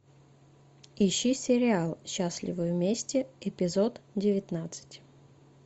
ищи сериал счастливы вместе эпизод девятнадцать